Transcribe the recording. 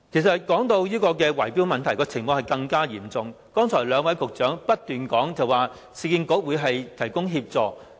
說到圍標問題，有關情況更為嚴重，雖然兩位局長剛才不斷說市建局會提供協助。